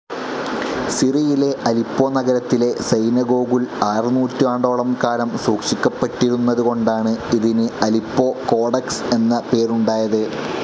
സിറിയിലെ Aleppo നഗരത്തിലെ സൈനഗോഗുൽ ആറു നൂറ്റാണ്ടോളം കാലം സൂക്ഷിക്കപ്പെട്ടിരുന്നത് കൊണ്ടാണ് ഇതിന് അലിപ്പോ കോഡെക്സ്‌ എന്ന പേരുണ്ടായത്.